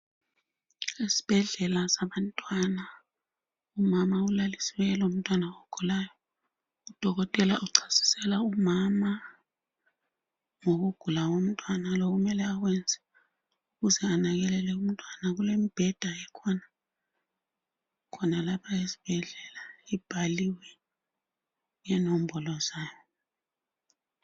Esibhedlela sabantwana, umama ulaliswe lomntwana ogulayo. Udokotela uchasisela umama ngokugula komntwana lokumele akwenze ukuze anakekele umntwana. Kulembheda ekhona, khonalapha esibhedlela ibhaliwe inombolo zayo.